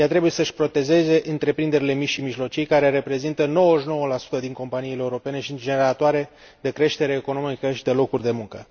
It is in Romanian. Ea trebuie să își protejeze întreprinderile mici și mijlocii, care reprezintă 99 din companiile europene și sunt generatoare de creștere economică și de locuri de muncă.